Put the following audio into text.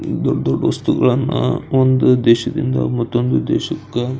ಇದು ದೊಡ್ಡ್ ದೊಡ್ಡ್ ವಸ್ತುಗಳನ್ನ ಒಂದು ದೇಶದಿಂದ ಮತ್ತೊಂದು ದೇಶಕ್ಕ--